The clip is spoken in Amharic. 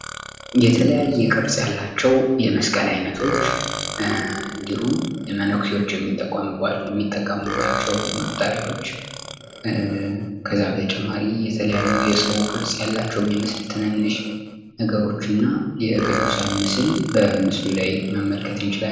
የተለያየ ቅርጽ ያላቸው የመስቀል አይነቶች እንድሁም መነኩሴዎች የሚጠቀሙባቸው መቁጠሪያዎች ከዚያ በተጨማሪ የሰው ቅርጽ ያላቸው የሚመስል ትንንሽ ነገሮችና የቅዱሳን ምስል ምስሉ ላይ መመልከት እንችላለን።